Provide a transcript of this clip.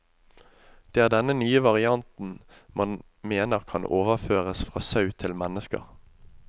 Det er denne nye varianten man mener kan overføres fra sau til mennesker.